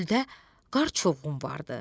Çöldə qar çovğun vardı.